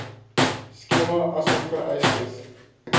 skema asook vereistes